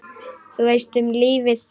Þú veist, um lífið?